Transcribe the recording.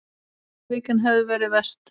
Þriðja vikan hefði verið verst.